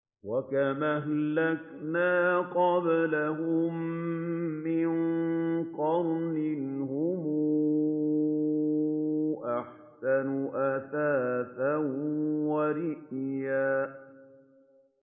وَكَمْ أَهْلَكْنَا قَبْلَهُم مِّن قَرْنٍ هُمْ أَحْسَنُ أَثَاثًا وَرِئْيًا